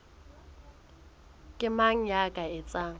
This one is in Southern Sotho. ke mang ya ka etsang